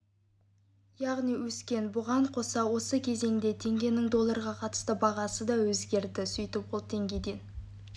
яғни өскен бұған қоса осы кезеңде теңгенің долларға қатысты бағамы да өзгерді сөйтіп ол тенгеден